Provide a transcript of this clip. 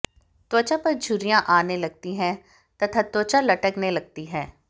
त्वचा पर झुर्रियां आने लगती हैं तथा त्वचा लटकने लगती है